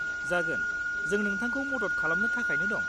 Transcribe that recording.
जागोन, जों नोंथांखौ मदद खालामनो थाखायनो दं।